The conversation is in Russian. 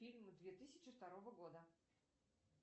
фильмы две тысячи второго года